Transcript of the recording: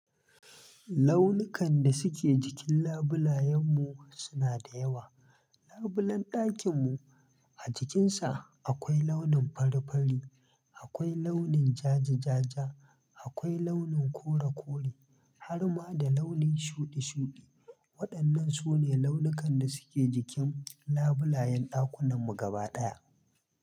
Launikan da suke jikin labulayen mu suna da yawa. Labulen ɗakin mu a jikin sa akwai launin fari fari, akwai launin jaja jaaja, akwai launin kore kore har ma da launin shuɗi shuɗi. Waɗannan sune launukan da suke jikin labulayen ɗakunan mu gaba ɗaya.